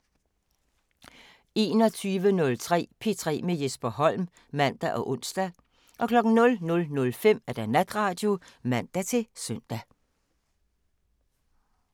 21:03: P3 med Jesper Holm (man og ons) 00:05: Natradio (man-søn)